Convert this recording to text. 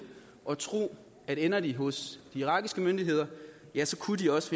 at tro at ender de hos de irakiske myndigheder ja så kunne de også